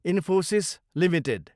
Infosys Ltd